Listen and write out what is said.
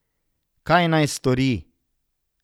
Kaj naj stori?